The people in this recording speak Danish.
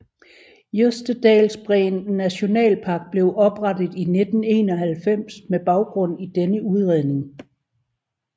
Jostedalsbreen nationalpark blev oprettet i 1991 med baggrund i denne udredning